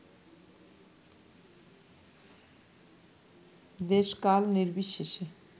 দেশ-কাল নির্বিশেষে